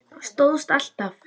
Það stóðst alltaf.